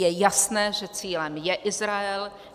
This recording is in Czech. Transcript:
Je jasné, že cílem je Izrael.